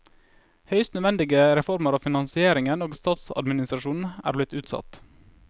Høyst nødvendige reformer av finansnæringen og statsadministrasjonen, er blitt utsatt.